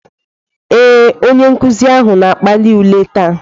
Ee, onye nkuzi ahụ na-akpali ule taa.